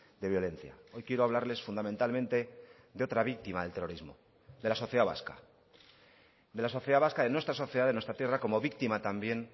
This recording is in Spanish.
de violencia hoy quiero hablarles fundamentalmente de otra víctima del terrorismo de la sociedad vasca de la sociedad vasca de nuestra sociedad de nuestra tierra como víctima también